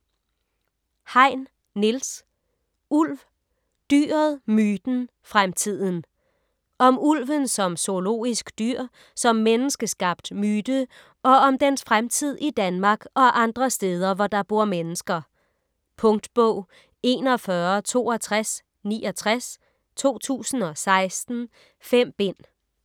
Hein, Niels: Ulv: dyret, myten, fremtiden Om ulven som zoologisk dyr, som menneskeskabt myte og om dens fremtid i Danmark og andre steder, hvor der bor mennesker. Punktbog 416269 2016. 5 bind.